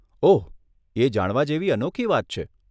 ઓહ, એ જાણવા જેવી અનોખી વાત છે.